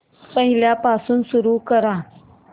पहिल्यापासून सुरू कर